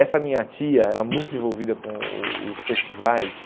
Essa minha tia era muito envolvida com o os festivais,